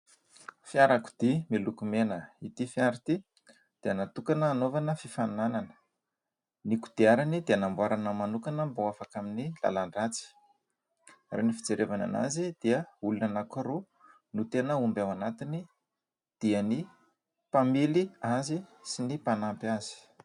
Fiarakodia miloko mena. Ity fiara ity dia natokana hanaovana fifaninanana. Ny kodiarany dia namboarina manokana mba ho afaka amin'ny lalan-dratsy ary ny fijerevana azy dia olona anankiroa no tena omby ao anatiny dia ny mpamily azy sy ny mpanampy azy.